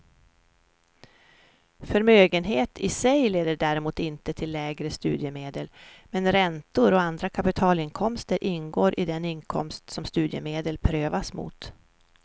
Förmögenhet i sig leder däremot inte till lägre studiemedel, men räntor och andra kapitalinkomster ingår i den inkomst som studiemedel prövas mot.